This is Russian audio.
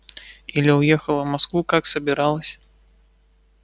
или уехала в москву как собиралась